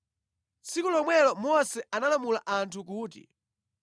Tsiku lomwelo Mose analamula anthu kuti: